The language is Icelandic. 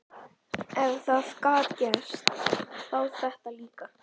Ef það gat gerst, þá þetta líka.